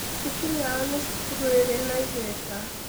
Cukuru yao nĩ cukuru ĩrĩ na igweta.